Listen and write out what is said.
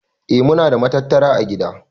Eh muna da matattara ã gida.